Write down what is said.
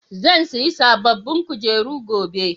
zan sayi sabobbin kujeru gobe